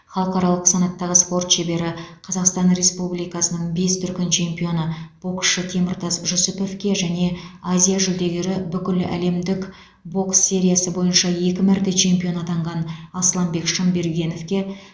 халықаралық санаттағы спорт шебері қазақстан республикасының бес дүркін чемпионы боксшы теміртас жүсіповке және азия жүлдегері бүкіләлемдік бокс сериясы бойынша екі мәрте чемпион атанған асланбек шынбергеновке